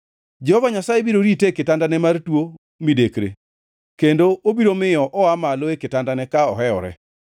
Jehova Nyasaye biro rite e kitandane mar tuo midekre kendo obiro miyo oa malo e kitandane ka ohewore.